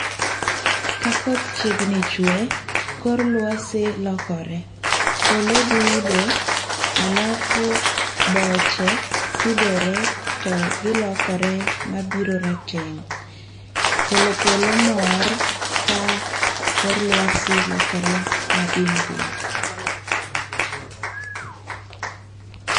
Ka koth chiegni chwe, kor lwasi lokore, polo dudo alafu boche tudore to gi lokore mabiro rateng', kolo polo mor ka kor lwasi lokore madim dim